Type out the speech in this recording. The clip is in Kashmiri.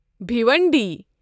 بھیونڈی